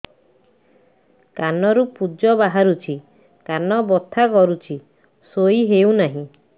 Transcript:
କାନ ରୁ ପୂଜ ବାହାରୁଛି କାନ ବଥା କରୁଛି ଶୋଇ ହେଉନାହିଁ